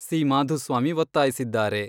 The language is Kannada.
ಸಿ. ಮಾಧುಸ್ವಾಮಿ ಒತ್ತಾಯಿಸಿದ್ದಾರೆ.